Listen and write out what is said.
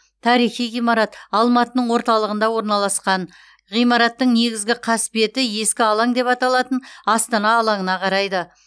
тарихи ғимарат алматының орталығында орналасқан ғимараттың негізгі қасбеті ескі алаң деп аталатын астана алаңына қарайды